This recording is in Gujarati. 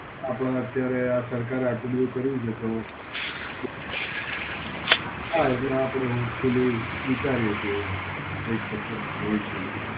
આપડે અત્યારે આ સરકારે આટલું બધું કર્યું છે, તો થાય જે આપડું પેલી વિચારીએ એક એવું. કઈંક થશે ભવિષ્યમાં.